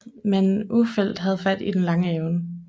Men Ulfeldt havde fat i den lange ende